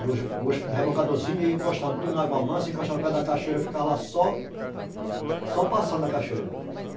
E os os rebocadoreszinhos iam encostando tudo na água mansa, encostando no pé da cachoeira, eu ficava lá só... Só passando a cachoeira.